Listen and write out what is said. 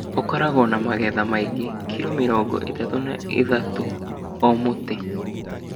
ũkoragwo na magetha maingĩ (kilo mĩrongo ĩtatũ na ithatuũ o mũtĩ).